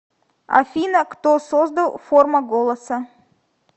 афина кто создал форма голоса